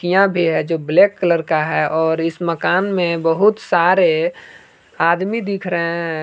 यह भी है जो ब्लैक कलर का है और इस मकान में बहुत सारे आदमी दिख रहे हैं।